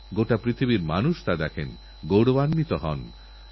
সরকার অ্যাণ্টিবায়োটিকরেজিস্ট্যান্সকে বন্ধ করতে বদ্ধপরিকর